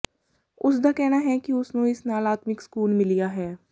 ਉਸਦਾ ਕਹਿਣਾ ਹੈ ਕਿ ਉਸਨੂੰ ਇਸ ਨਾਲ ਆਤਮਿਕ ਸਕੂਨ ਮਿਲਿਆ ਹੈ